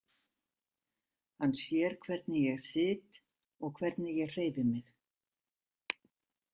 Hann sér hvernig ég sit og hvernig ég hreyfi mig.